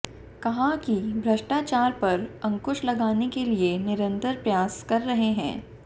कहा कि भ्रष्टाचार पर अंकुश लगाने के लिए निरंतर प्रयास कर रहे हैं